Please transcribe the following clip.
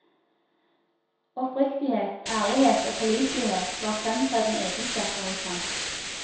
Oppriktighet, ærlighet og pålitelighet var fremtredende egenskaper hos ham.